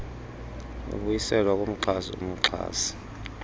ibuyiselwa kumxhasi umxhasi